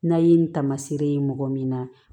N'a ye nin taamaseere ye mɔgɔ min na